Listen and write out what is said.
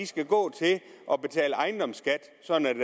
skal gå til at betale ejendomsskat sådan at